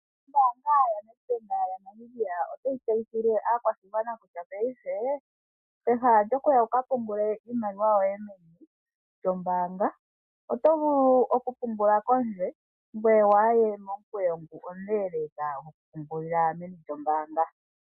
Ombaanga yoNedbank otayi tseyithile aakwashigwana kutya peha lyokuya wuka tulile iimaliwa yoye meni lyombaanga oto vulu oku pungulila pondje ngoye waaye momukweyo omuleleka meni lyombaanga.